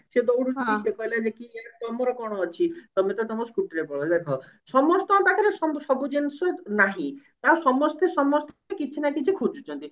ସେ ଦଉଡିଲା ସେ କହିଲା ଦେଖି ତମର କଣ ଅଛି ତମେ ତ ତମ scooty ରେ ପଳେଇବ ଦେଖ ସମସ୍ତଙ୍କ ପାଖରେ ସବୁ ସବୁ ଜିନିଷ ନାହିଁ ତ ସମସ୍ତେ ସମସ୍ତେ କିଛି ନା କିଛି ଖୋଜୁଛନ୍ତି